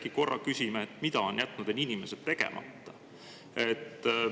Äkki korra küsime, mida on jätnud need inimesed tegemata?